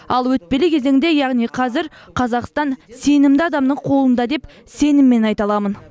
ал өтпелі кезеңде яғни қазір қазақстан сенімді адамның қолында деп сеніммен айта аламын